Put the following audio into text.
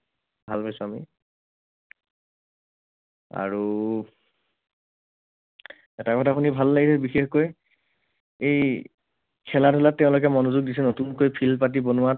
ভাল পাইছো আমি। আৰু এটা কথা শুনি ভাল লাগিল বিশেষকৈ। এই খেলা ধূলাত তেওঁলোকে মনোযোগ দিছে নতুনকৈ field পাতি বনোৱাত।